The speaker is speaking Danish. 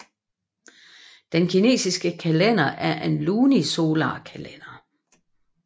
Den kinesiske kalender er en lunisolarkalender